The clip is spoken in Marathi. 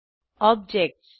ऑब्जेक्टस